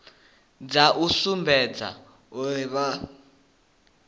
dza u sumbedza uri vha